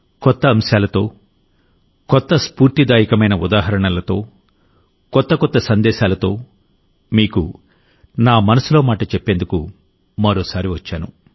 కొత్త అంశాలతో కొత్త స్ఫూర్తిదాయకమైన ఉదాహరణలతో కొత్త కొత్త సందేశాలతోమీకు నా మనసులో మాట చెప్పేందుకు మరోసారి వచ్చాను